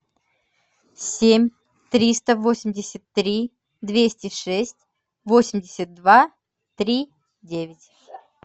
семь триста восемьдесят три двести шесть восемьдесят два три девять